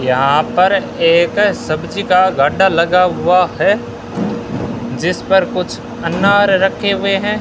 यहां पर एक सब्जी का गंडा लगा हुआ है जिस पर कुछ अनार रखे हुए हैं।